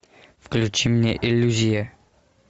включи мне иллюзия